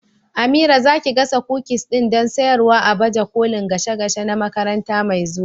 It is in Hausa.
Amira, za ki gasa kukis din don sayarwa a baje kolin gashe gashe na makaranta mai zuwa?